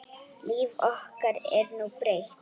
Líf okkar er nú breytt